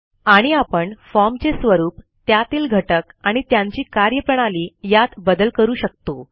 आणि आपण formचे स्वरूप त्यातील घटक आणि त्यांची कार्यप्रणाली यात बदल करू शकतो